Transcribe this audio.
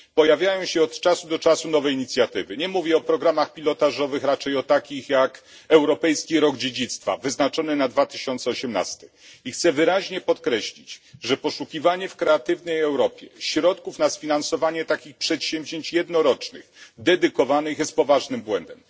Pojawiają się od czasu do czasu nowe inicjatywy nie mówię o programach pilotażowych, raczej o takich jak Europejski Rok Dziedzictwa wyznaczony na 2018 rok i chcę wyraźnie podkreślić, że poszukiwanie w programie Kreatywna Europa środków na sfinansowanie takich jednorocznych przedsięwzięć dedykowanych jest poważnym błędem.